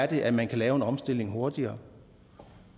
det er man kan lave en omstilling hurtigere